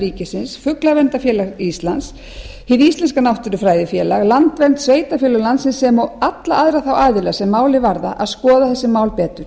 ríkisins fuglaverndarfélag íslands hið íslenska náttúrufræðifélag landvernd sveitarfélög landsins sem og alla aðra þá aðila sem málið varða að skoða þessi mál betur